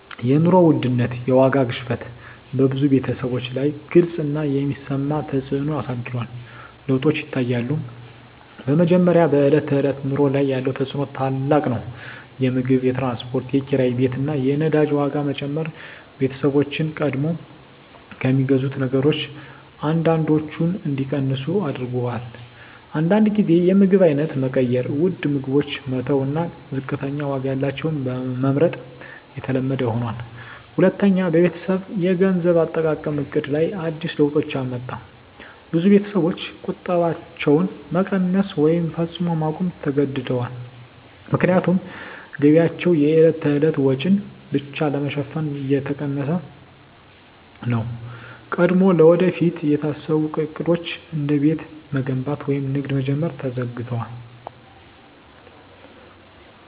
የኑሮ ውድነት (የዋጋ ግሽበት) በብዙ ቤተሰቦች ላይ ግልጽ እና የሚሰማ ተፅዕኖ አሳድሯል። ለውጦች ይታያሉ፦ በመጀመሪያ፣ በዕለት ተዕለት ኑሮ ላይ ያለው ተፅዕኖ ታላቅ ነው። የምግብ፣ የትራንስፖርት፣ የኪራይ ቤት እና የነዳጅ ዋጋ መጨመር ቤተሰቦችን ቀድሞ ከሚገዙት ነገሮች አንዳንዶቹን እንዲቀንሱ አድርጎአል። አንዳንድ ጊዜ የምግብ አይነት መቀየር (ውድ ምግቦችን መተው እና ዝቅተኛ ዋጋ ያላቸውን መመርጥ) የተለመደ ሆኗል። ሁለተኛ፣ በቤተሰብ የገንዘብ አጠቃቀም ዕቅድ ላይ አዲስ ለውጦች አመጣ። ብዙ ቤተሰቦች ቁጠባቸውን መቀነስ ወይም ፈጽሞ ማቆም ተገድደዋል፣ ምክንያቱም ገቢያቸው የዕለት ተዕለት ወጪን ብቻ ለመሸፈን እየተጠቀሰ ነው። ቀድሞ ለወደፊት የታሰቡ ዕቅዶች፣ እንደ ቤት መገንባት ወይም ንግድ መጀመር፣ ተዘግደዋል።